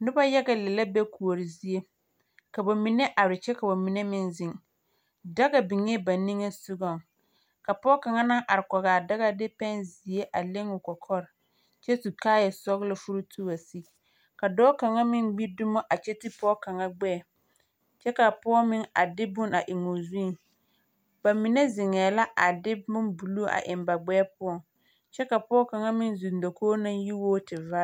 Noba yaga lԑ la be kuori zie. Ka ba mine are kyԑ ka ba mine meŋ zeŋ. Daga biŋee ba niŋe sogͻŋ, ka pͻͻ kaŋa naŋ are kͻgaa daga a de pԑnzeԑ a leŋ o kͻkͻre kyԑ su kaaya sͻgelͻ furuutu a wa sigi. Ka dͻͻ kaŋa meŋ gbi dumo a kyԑ te pͻge kaŋa gbԑԑ, kyԑ kaa pͻge meŋ a de bon a eŋoo zuŋ. Ba mine zeŋԑԑ la a de bombuluu a eŋ ba gbԑԑ poͻ kyԑ ka pͻge kaŋa meŋ zeŋ dakogi kaŋa naŋ yi wo tevaare.